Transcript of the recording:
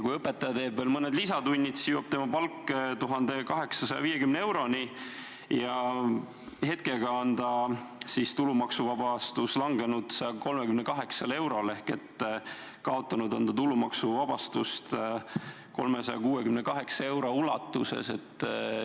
Kui õpetaja teeb veel mõned lisatunnid, siis jõuab tema palk 1850 euroni ja hetkega on tema tulumaksuvabastus langenud 138 eurole ehk ta on kaotanud tulumaksuvabastust 362 euro ulatuses.